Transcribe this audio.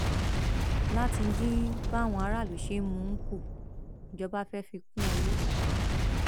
láti dín báwọn aráàlú ṣe ń mú un kù ìjọba fẹẹ fi kún owó